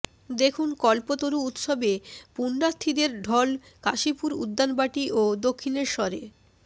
দেখুন কল্পতরু উৎসবে পুণ্যার্থীদের ঢল কাশীপুর উদ্যানবাটি ও দক্ষিণেশ্বরে